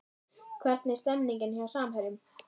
Hvernig er stemningin hjá Samherjum?